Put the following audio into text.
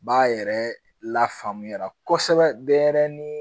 B'a yɛrɛ lafaamuya kosɛbɛ denyɛrɛnin